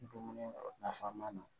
Dumuni nafama na